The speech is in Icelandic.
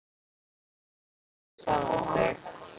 Mér stendur ekki á sama um þig.